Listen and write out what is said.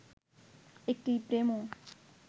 একটি প্রেমও